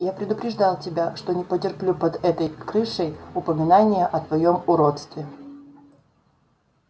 я предупреждал тебя что не потерплю под этой крышей упоминания о твоём уродстве